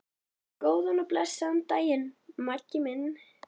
Góðan og blessaðan daginn, Maggi minn.